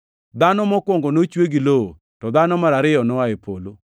Dhano mokwongo nochwe gi lowo, to dhano mar ariyo noa e polo.